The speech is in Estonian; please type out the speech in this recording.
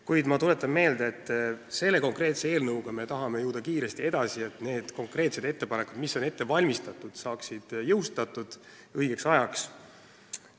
Kuid ma tuletan meelde, et eelnõuga 593 me tahame kiiresti edasi liikuda, et need konkreetsed muudatused saaks jõustatud õigeks ajaks.